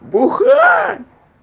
бухла